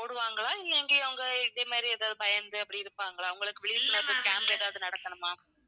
போடுவாங்களா இல்லை இங்கேயும் அவங்க இதே மாதிரி ஏதாவது பயந்து அப்படி இருப்பாங்களா? அங்களுக்கு விழிப்புணர்வு camp ஏதாவது நடத்தணுமா?